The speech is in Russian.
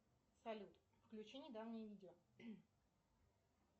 салют включи недавнее видео